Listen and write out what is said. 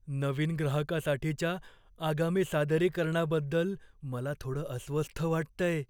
नवीन ग्राहकासाठीच्या आगामी सादरीकरणाबद्दल मला थोडं अस्वस्थ वाटतंय.